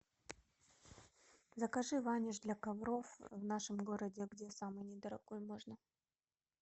закажи ваниш для ковров в нашем городе где самый не дорогой можно